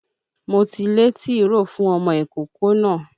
Mo ti lé tìróò fún ọmọ ìkókó náà.